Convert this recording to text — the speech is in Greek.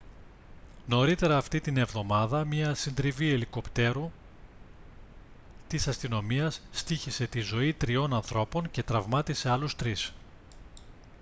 νωρίτερα αυτήν την εβδομάδα μια συντριβή ελικόπτερου της αστυνομίας στοίχισε τη ζωή τριών ανθρώπων και τραυμάτισε άλλους τρεις